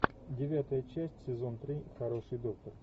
девятая часть сезон три хороший доктор